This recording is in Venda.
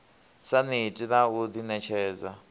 sa neti na u ḓiṋetshedza